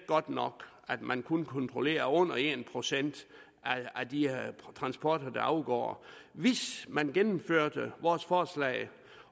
godt nok at man kun kontrollerer under en procent af de transporter der afgår hvis man gennemførte vores forslag